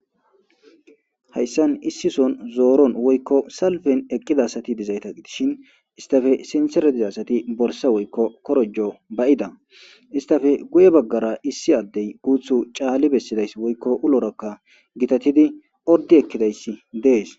Hayssan issison zooron woykko salben eqqida sati dizayta itishin istafe sinserediza asati borsa woykko korojo bayida istafe guye baggara issi addey guuthu caalli bessidays woykko ulorakka gitatidi ordi ekkidayssi dees.